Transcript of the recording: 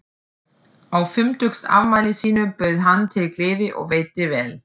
Á fimmtugsafmæli sínu bauð hann til gleði og veitti vel.